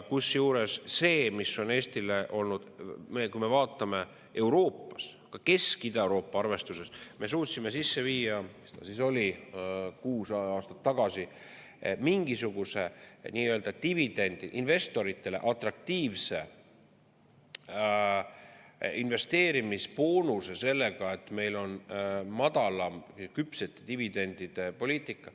Kusjuures, kui me vaatame Euroopas, siis ka Kesk- ja Ida-Euroopa arvestuses me suutsime sisse viia, mis ta siis oli, kuus aastat tagasi mingisuguse nii-öelda dividendi, investoritele atraktiivse investeerimisboonuse sellega, et meil on madalam küpsete dividendide poliitika.